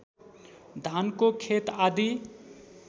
धानको खेत आदी